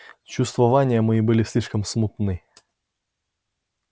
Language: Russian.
чувствования мои были слишком смутны